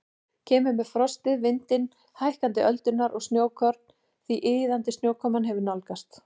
Kemur með frostið, vindinn, hækkandi öldurnar og snjókorn því iðandi snjókoman hefur nálgast.